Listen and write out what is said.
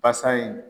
Basa in